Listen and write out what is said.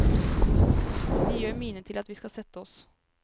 De gjør mine til at vi skal sette oss.